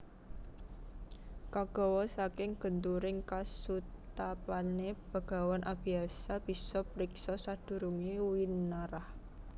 Kagawa saka genturing kasutapané Begawan Abiyasa bisa priksa sadurungé winarah